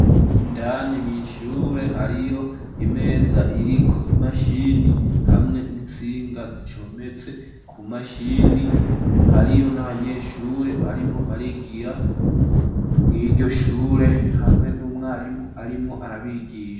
Indani mwishure hariyo imeza iriko imashini ,hamwe n'insinga zicometse ,ku mashini hariyo n'abanyeshure barimwo barigira mw''iryoshure hamwe n'umwarimu arimwo arabigisha.